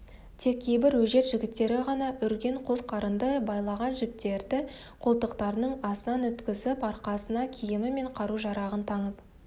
тек кейбір өжет жігіттері ғана үрген қос қарынды байлаған жіптерді қолтықтарының астынан өткізіп арқасына киімі мен қару-жарағын таңып